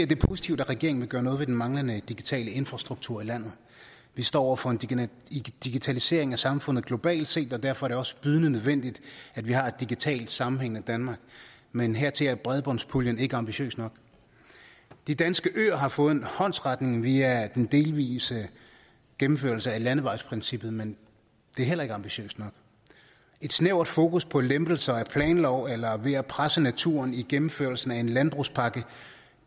det er positivt at regeringen vil gøre noget ved den manglende digitale infrastrukturer i landet vi står over for en digitalisering af samfundet globalt set og derfor er det også bydende nødvendigt at vi har et digitalt sammenhængende danmark men hertil er bredbåndspuljen ikke ambitiøs nok de danske øer har fået en håndsrækning via den delvise gennemførelse af landevejsprincippet men det er heller ikke ambitiøst nok et snævert fokus på lempelser af planloven eller ved at presse naturen i gennemførelsen af en landbrugspakke